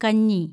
കഞ്ഞി